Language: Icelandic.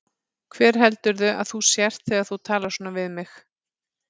Hver heldurðu að þú sért þegar þú talar svona við mig?